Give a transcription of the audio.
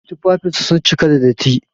Tufafinsa sun cika da datti.